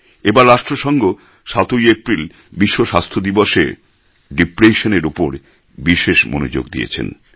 এবার রাষ্ট্রসঙ্ঘ ৭ এপ্রিল বিশ্ব স্বাস্থ্য দিবসে ডিপ্রেশন এর উপর বিশেষ মনোযোগ দিয়েছেন